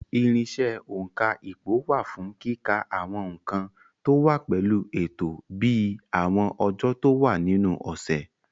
Irinṣẹ́ òǹkà ipò wà fún kíka àwọn nǹkan tó wá pẹ̀lú ètò bíi àwọn ọjọ́ tó wà nínú ọ̀sẹ̀.